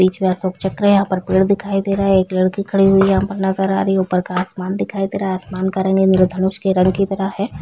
बीच में अशोक चक्र है यहाँ पर पेड़ दिखाई दे रहा है एक लड़की खड़ी हुई नज़र आ रही है ऊपर आसमान दिखाई दे रहा है आसमान का रंग इन्द्रधनुष की रंग की तरह हैं।